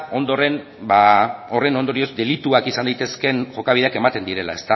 ondoren horren ondorioz delituak izan daitezkeen jokabideak ematen direla